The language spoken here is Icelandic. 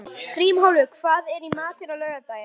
Grímólfur, hvað er í matinn á laugardaginn?